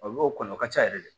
Olu kɔni o ka ca yɛrɛ de